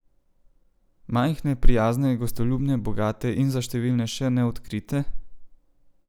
Majhne, prijazne, gostoljubne, bogate in za številne še neodkrite?